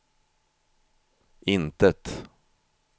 intet